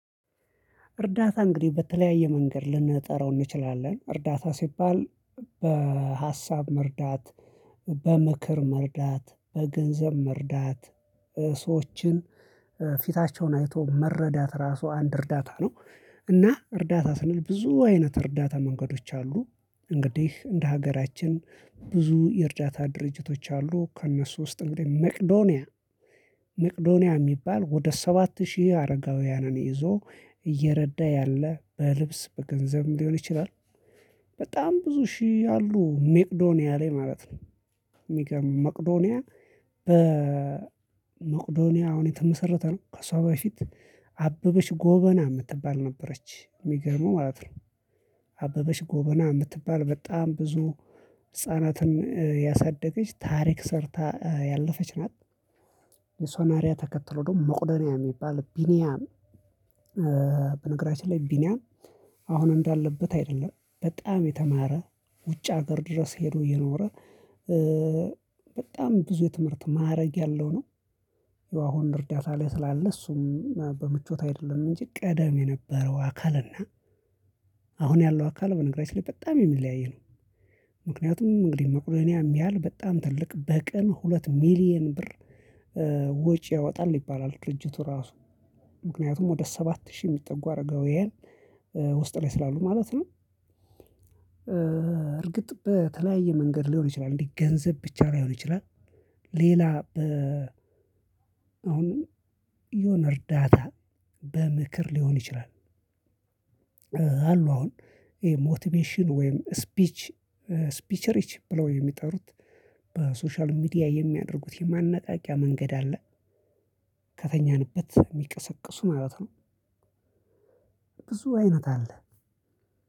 እርዳታ እንግዲህ በተለያየ መንገድ ልንጠራው እንችላለን እርዳታ ሲባል በሀሳብ መርዳት በምክር መርዳት በገንዘብ መርዳት ሰዎችን ፊታቸውን አይቶ መረዳት ራሱ አንድ እርዳታ ነው እና እርዳታ ስንል ብዙ አይነት እርዳታ መንገዶች አሉ። እንግዲህ እንደ ሀገራችን ብዙ የእርዳታ ድርጅቶች አሉ ከእነሱ ውስጥ እንግዲህ መቅዶንያ መቅዶንያ የሚባል ወደ ሰባት ሺህ አረጋውያንን ይዞ እየረዳ ያለ በልብስ በገንዘብም ሊሆን ይችላል። በጣም ብዙ ሺህ አሉ ሜቅዶኒያ ላይ ማለት ነው። የሚገርም ሜቅዶኒያ በ መቅዶኒያ አሁን የተመሰረተ ነው። ከሷ በፊት አበበች ጎበና የምትባል ነበረች የሚገርመው ማለት ነው። አበበች ጎበና የምትባል በጣም ብዙ ህፃናትን ያሳደገች ታሪክ ሰርታ ያለፈች ናት። የእርሶን አርአያ ተከትሎ ደግሞ መቅዶኒያ የሚባል ቢኒያም በነገራችን ላይ ቢኒያም አሁን እንዳለበት አይደለም በጣም የተማረ። ውጭ ሀገር ድረስ ሄዶ የኖረ። በጣም ብዙ የትምህርት ማዕረግ ያለው ነው። አሁን እርዳታ ላይ ስላለ እሱም በምቾት አይደለም እንጂ ቀደም የነበረው አካል እና አሁን ያለው አካል በነገራችን ላይ በጣም የሚለያይ ነው። ምክንያቱም እንግዲህ መቅዶኒያ ያህል በጣም ትልቅ በቀን ሁለት ሚሊየን ብር ወጪ ያወጣል ይባላል ድርጅቱ ራሱ ምክንያቱም ወደ ሰባት ሺህ የሚጠጉ አረጋዊያን ውስጥ ላይ ስላሉ ማለት ነው። እርግጥ በተለያየ መንገድ ሊሆን ይችላል እንዴ ገንዘብ ብቻ ላይሆን ይችላል። ሌላ በ አሁንም የሆነ እርዳታ በምክር ሊሆን ይችላል። አሉ አሁን ይሄ ሞቲቬሽን ወይም ስፒች ስፒች ሪች ብለው የሚጠሩት በሶሻል ሚዲያ የሚያደርጉት የማነቃቂያ መንገድ አለ። ከተኛንበት የሚቀሰቅሱ ማለት ነው። ብዙ አይነት አለ።